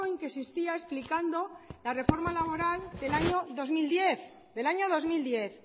que existía explicando la reforma laboral del año dos mil diez